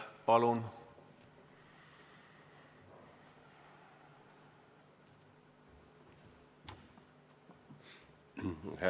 Palun!